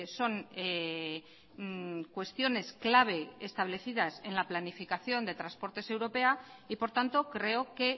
son cuestiones clave establecidas en la planificación de transportes europea y por tanto creo que